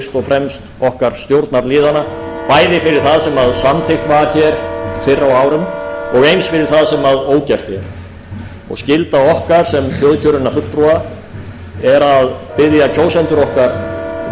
fremst okkar stjórnarliðanna bæði fyrir það sem samþykkt var hér fyrr á árum og eins fyrir það sem ógert er og skylda okkar sem þjóðkjörinna fulltrúa er að biðja kjósendur okkar velvirðingar á